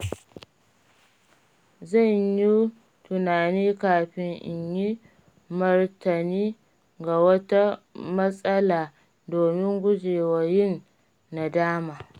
Zan yi tunani kafin in yi martani ga wata matsala domin gujewa yin nadama.